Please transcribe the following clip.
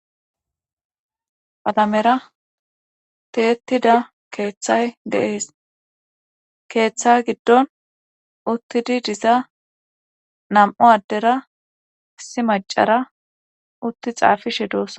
Qalamera tiyetida keethay dees. Keeththa giddon utizi diza nam'u addera issi maccara utti xaafishe doosona.